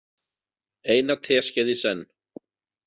Eina teskeið í senn.